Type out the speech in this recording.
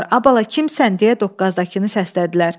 Ay bala, kimsən deyə doqqazdakını səslədilər.